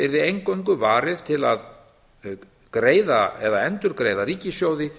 yrði eingöngu varið til greiða eða endurgreiða ríkissjóði